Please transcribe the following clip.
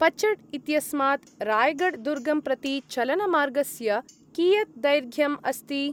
पचड् इत्यस्मात् राय्गढ् दुर्गं प्रति चलनमार्गस्य कियत् दैर्घ्यं अस्ति?